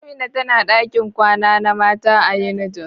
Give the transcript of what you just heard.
Amina tana dakin kwana na mata a unijos.